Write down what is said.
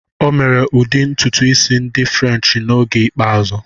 O mere ụdị ntutu isi ndị Furenchi na oge ikpeazụ.